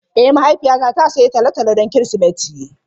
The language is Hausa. Ee mahaifiyata ta sayi tolotolo don Kirsimeti.